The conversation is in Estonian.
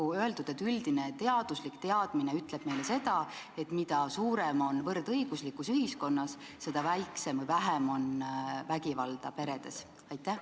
Olgu öeldud, et üldine teaduslik teadmine ütleb meile, et mida rohkem on ühiskonnas võrdõiguslikkust, seda vähem on vägivalda peredes.